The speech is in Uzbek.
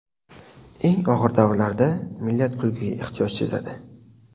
Eng og‘ir davrlarda millat kulgiga ehtiyoj sezadi.